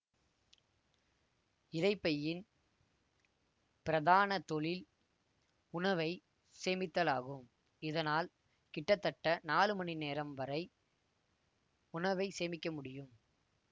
இரைப்பையின் பிரதான தொழில் உணவை சேமித்தலாகும் இதனால் கிட்டத்தட்ட நாலு மணிநேரம் வரை உணவை சேமிக்க முடியும்